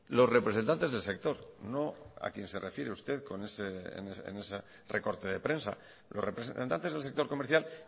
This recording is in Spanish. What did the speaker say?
los representantes del sector no a quien se refiere usted con ese recorte de prensa los representantes del sector comercial